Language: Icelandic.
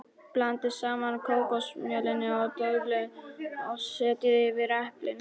Blandið saman kókosmjölinu og döðlunum og setjið yfir eplin.